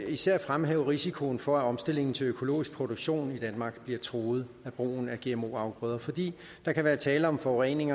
især fremhæve risikoen for at omstillingen til økologisk produktion i danmark bliver truet af brugen af gmo afgrøder fordi der kan være tale om forurening